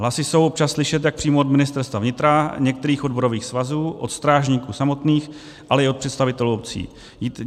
Hlasy jsou občas slyšet jak přímo od Ministerstva vnitra, některých odborových svazů, od strážníků samotných, ale i od představitelů obcí.